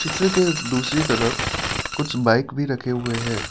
Picture के दूसरी तरफ कुछ बाइक भी रखे हुए हैं।